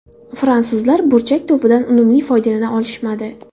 Fransuzlar burchak to‘pidan unumli foydalana olishmadi.